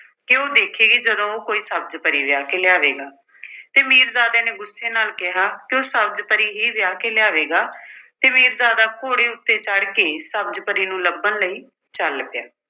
ਕਿ ਉਹ ਦੇਖੇਗੀ ਜਦੋਂ ਉਹ ਕੋਈ ਸਬਜ਼ ਪਰੀ ਵਿਆਹ ਕੇ ਲਿਆਵੇਗਾ ਤੇ ਮੀਰਜ਼ਾਦੇ ਨੇ ਗੁੱਸੇ ਨਾਲ ਕਿਹਾ ਕਿ ਉਹ ਸਬਜ਼ ਪਰੀ ਹੀ ਵਿਆਹ ਕੇ ਲਿਆਵੇਗਾ ਤੇ ਮੀਰਜ਼ਾਦਾ ਘੋੜੇ ਉੱਤੇ ਚੜ ਕੇ ਸਬਜ਼ ਪਰੀ ਨੂੰ ਲੱਭਣ ਲਈ ਚੱਲ ਪਿਆ।